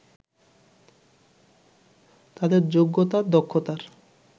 তাদের যোগ্যতা-দক্ষতার